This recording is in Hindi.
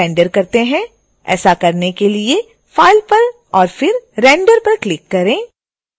ऐसा करने के लिए file पर और फिर render पर क्लिक करें